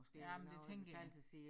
Ja men det tænker jeg